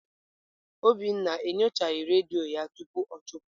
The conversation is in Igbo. Obinna enyochaghị redio ya tupu ọ chụpụ.